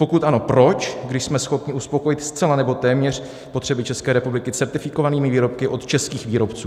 Pokud ano, proč, když jsme schopni uspokojit zcela nebo téměř potřeby České republiky certifikovanými výrobky od českých výrobců.